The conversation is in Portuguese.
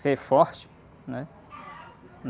Ser forte, né?